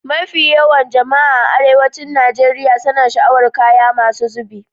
mafi yawan jama'a a arewancin Nigeriya suna sha'awarar kaya masu zubi